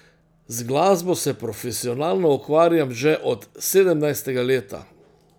Z glasbo se profesionalno ukvarjam že od sedemnajstega leta.